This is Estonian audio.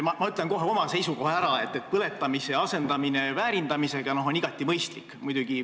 Ma ütlen kohe oma seisukoha ära: põletamise asendamine väärindamisega on igati mõistlik.